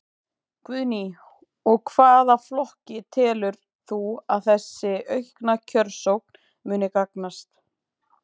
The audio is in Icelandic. Guðný: Og hvaða flokki telur þú að þessi aukna kjörsókn muni gagnast?